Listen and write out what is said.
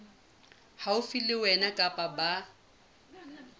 haufi le wena kapa ba